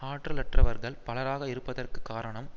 ஆற்றலற்றவர்கள் பலராக இருப்பதற்கு காரணம்